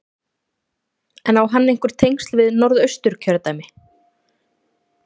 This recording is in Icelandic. En á hann einhver tengsl við Norðausturkjördæmi?